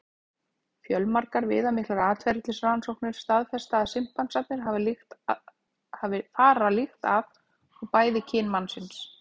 Fjölmargar viðamiklar atferlisrannsóknir staðfesta að simpansarnir fara líkt að og bæði kyn mannsins.